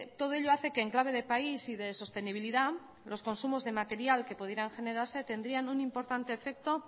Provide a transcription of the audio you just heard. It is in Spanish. todo ello hace que en clave de país y de sostenibilidad los consumos de material que pudieran generarse tendrían un importante efecto